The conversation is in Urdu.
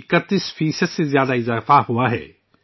31 فی صد سے زیادہ کا اضافہ ہوا ہے